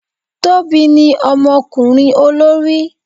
Tobi ní omokurin olori